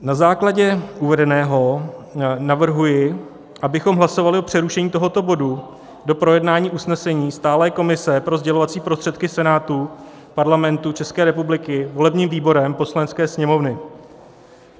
Na základě uvedeného navrhuji, abychom hlasovali o přerušení tohoto bodu do projednání usnesení Stálé komise pro sdělovací prostředky Senátu Parlamentu České republiky volebním výborem Poslanecké sněmovny.